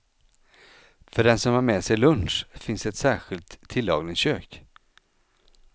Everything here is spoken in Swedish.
För den som har med sig lunch, finns ett särskilt tillagningskök.